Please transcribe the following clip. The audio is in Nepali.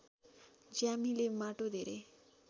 ज्यामीले माटो धेरै